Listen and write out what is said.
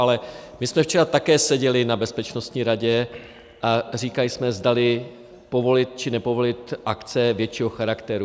Ale my jsme včera také seděli na Bezpečnostní radě a říkali jsme, zdali povolit, či nepovolit akce většího charakteru.